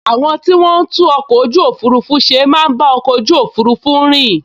Àwọn tí wọ́n n tún ọkọ̀ ojú òfurufú ṣe máa n bá ọkọ̀ ojú òfurufú rìn